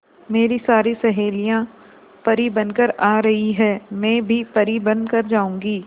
मेरी सारी सहेलियां परी बनकर आ रही है मैं भी परी बन कर जाऊंगी